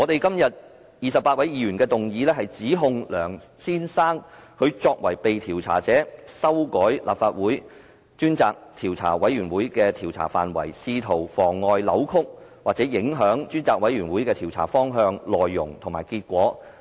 今天28位議員提出的議案，是指控梁先生作為被調查者，修改立法會專責委員會的調查範圍，試圖妨礙、扭曲或影響專責委員會的調查方向、內容和結果。